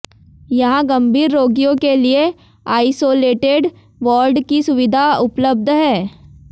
यहाँ गंभीर रोगियों के लिए आइसोलेटेड वार्ड की सुविधा उपलब्ध है